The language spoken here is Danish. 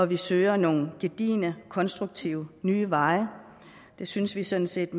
vi søger nogle gedigne konstruktive nye veje det synes vi sådan set